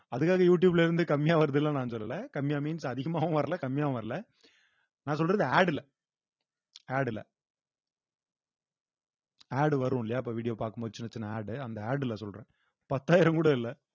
அதுக்காக யூ டியூப்ல இருந்து கம்மியா வருதுன்னுல்லாம் நான் சொல்லலை கம்மியா means அதிகமாவும் வரல கம்மியாவும் வரல நான் சொல்றது ad இல்ல ad இல்ல ad வரும் இல்லையா இப்ப video பார்க்கும்போது சின்ன சின்ன ad அந்த ad ல சொல்றேன் பத்தாயிரம் கூட இல்ல